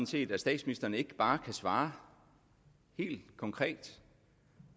set at statsministeren ikke bare kan svare helt konkret